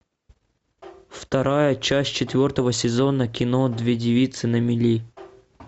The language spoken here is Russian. вторая часть четвертого сезона кино две девицы на мели